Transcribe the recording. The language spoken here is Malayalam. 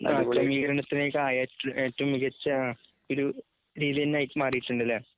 ആ ക്രമീകരണത്തിലേക്കാ ഏറ്റർ ഏറ്റവുംമികച്ചാ ഒരു രീലീന്നായിട്ട് മാറീട്ടുണ്ടല്ലെ?